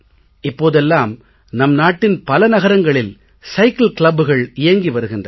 இப்போதெல்லாம் நம் நாட்டின் பல நகரங்களில் சைக்கிள் clubகள் இயங்கி வருகின்றன